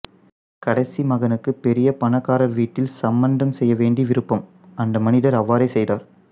கடைசி மகனுக்குப் பெரிய பணக்காரர் வீட்டில் சம்பந்தம் செய்ய வேண்டி விரும்பும் அந்த மனிதர் அவ்வாறே செய்கிறார்